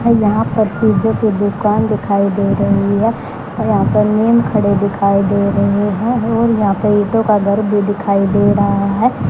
और यहां पर चीजों की दुकान दिखाई दे रही है और यहां पर नीम खड़े दिखाई दे रहे है और यहां पे ईंटों का घर भी दिखाई दे रहा है।